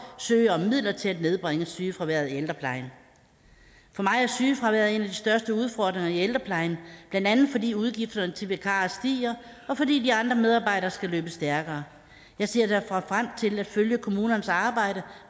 søge om midler til at nedbringe sygefraværet i ældreplejen for mig er sygefraværet en af de største udfordringer i ældreplejen blandt andet fordi udgifterne til vikarer stiger og fordi de andre medarbejdere skal løbe stærkere jeg ser derfor frem til at følge kommunernes arbejde